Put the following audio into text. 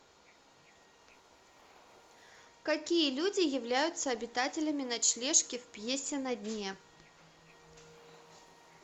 какие люди являются обитателями ночлежки в пьесе на дне